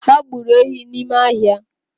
Ha gburu ehi n’ime ahia